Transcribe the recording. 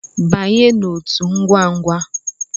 Banye n'otu ngwangwa!